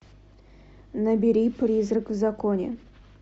набери призрак в законе